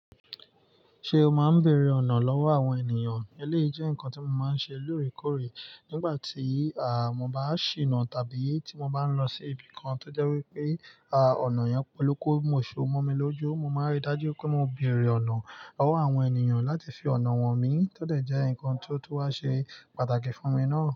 Ṣé o máa ń bèrè ọ̀nà lọ́wọ́ àwọn ènìyàn? Eléyìí jẹ́ nǹkan tí mo máa ń ṣe lóòrèkóòrè nígbà tí, àá, mo bá ṣinà tàbí tí mo bá ń lọ sí ibi kan to jẹ́ wí pé, àá, ọ̀nà yẹn poluku musu mọ́ mi lójú. Mo máa rí i dájú pé mo bèrè ọ̀nà lọ́wọ́ àwọn ènìyàn láti fi ọ̀nà hàn mi, tó dẹ̀ jẹ́ nǹkan tó tí wà ṣe pàtàkì fún mi náà.